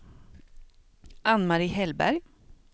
Ann-Marie Hellberg